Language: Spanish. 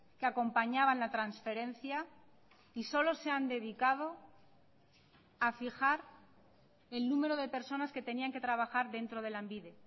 que acompañaban la transferencia y solo se han dedicado a fijar el número de personas que tenían que trabajar dentro de lanbide